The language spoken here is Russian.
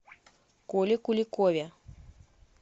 коле куликове